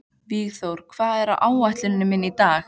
Vígþór, hvað er á áætluninni minni í dag?